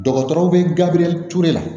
Dɔgɔtɔrɔw bɛ gabriel ture la